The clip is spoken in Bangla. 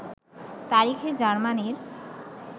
তারিখে জার্মানীর